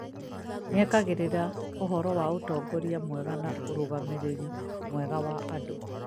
nĩekagĩrĩria ũhoro wa ũtongoria mwega na ũrũgamĩrĩri mwega wa andũ